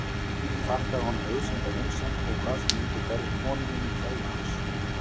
Ég þakkaði honum auðsýnda vinsemd og kvaðst mundu bera konu minni kveðju hans.